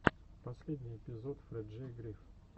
последний эпизод фрэджей гриф